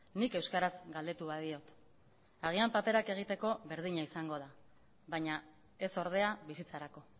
nik euskaraz galdetu badiot agian paperak egiteko berdina izango da baina ez ordea bizitzarako